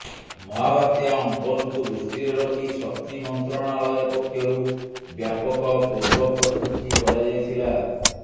ମହାବାତ୍ୟା ଅମ୍ଫନକୁ ଦୃଷ୍ଟିରେ ରଖି ଶକ୍ତି ମନ୍ତ୍ରଣାଳୟ ପକ୍ଷରୁ ବ୍ୟାପକ ପୂର୍ବପ୍ରସ୍ତୁତି କରାଯାଇଥିଲା